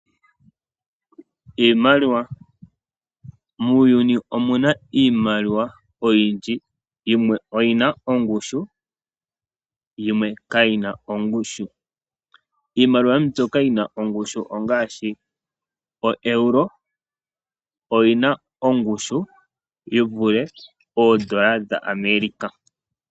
Iimaliwa. Muuyuni omuna iimaliwa oyindji, yimwe oyina ongushu yimwe kayina ongushu. Iimaliwa mbyoka yina ongushu ongaashi oEuro oyina ongushu yivule poodola dhaAmerica.